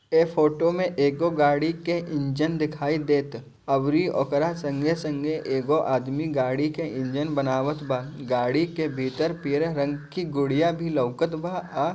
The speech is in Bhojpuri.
ए फ़ोटो मे एगो गाडी के इङ्जन दिखाइ देत अवरी ओकरा सङ्गे- सङ्गे एगो आदमी गाडी के इङ्जन बनावत बा गाडी के बिटर पिरे रङ्ग की गुदिया भी लवकत बा। आ--